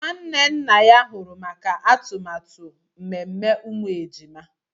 Nwanne nna ya huru maka atụmatụ mmemme umu ejima